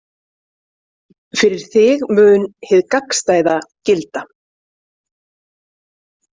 Fyrir þig mun hið gagnstæða gilda.